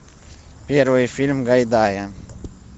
первый фильм гайдая